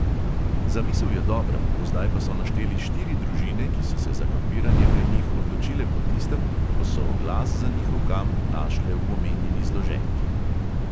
Zamisel je dobra, do zdaj pa so našteli štiri družine, ki so se za kampiranje pri njih odločile po tistem, ko so oglas za njihov kamp našle v omenjeni zloženki.